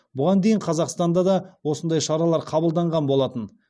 бұған дейін қазақстанда да осындай шаралар қабылданған болатын